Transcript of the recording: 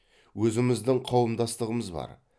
өзіміздің қауымдастығымыз бар